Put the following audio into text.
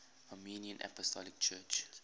armenian apostolic church